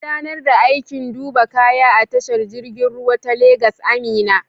Gudanar da aikin duba kaya a tashar jirgin ruwa ta Legas, Amina.